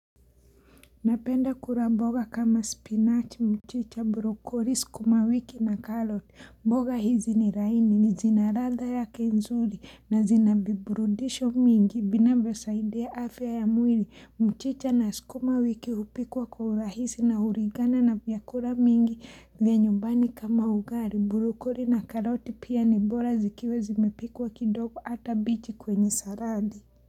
Napenda kula mboga kama spinach, mchicha, brocoli, sukuma wiki na carrot, mboga hizi ni laini, ni zina radha yake nzuri na zina viburudisho mingi, vinavyosaidia afya ya mwili, mchicha na sukuma wiki hupikwa kwa urahisi na hulingana na vyakula mingi vya nyumbani kama ugali, brocoli na carrot pia ni bora zikiwa zimepikwa kidogo ata bichi kwenye saradi.